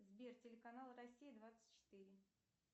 сбер телеканал россия двадцать четыре